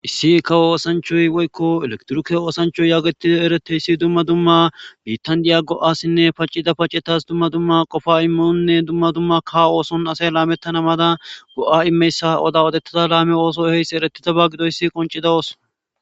issi ka oosanchoy woykko elektruke oosanchoy yaagetida ereteyssi dumma dumma bitandiya go7asinne paccida pacetas dumma dumma qofa imminonne dumma dumma ka ooson asay laamettanamada go7a imeyssa odawodettada laame ooso eheysse eretitaba gido issi qoncida oos